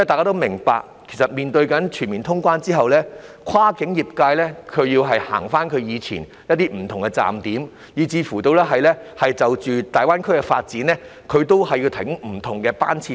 大家都明白，全面通關之後，跨境客運業界會再次為以往不同的站點提供服務，甚至會因應大灣區的發展營運服務，提供不同班次。